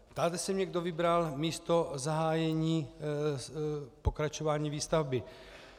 Ptáte se mě, kdo vybral místo zahájení pokračování výstavby.